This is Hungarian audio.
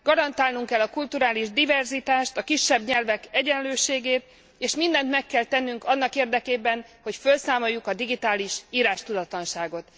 Garantálnunk kell a kulturális diverzitást, a kisebb nyelvek egyenlőségét, és mindent meg kell tennünk annak érdekében, hogy fölszámoljuk a digitális írástudatlanságot.